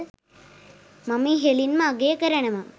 මම ඉහලින්ම අගය කරනවා